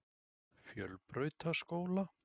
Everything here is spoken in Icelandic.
Fjölbrautaskóla